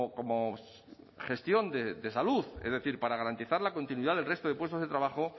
como gestión de salud es decir para garantizar la continuidad del resto de puestos de trabajo